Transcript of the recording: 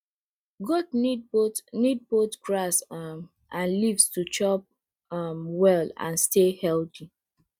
goat need both need both grass um and leaves to chop um well and stay healthy